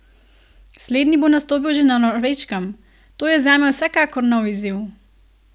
Slednji bo nastopil že na Norveškem: "To je zame vsekakor nov izziv.